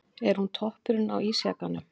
Er hún toppurinn á ísjakanum?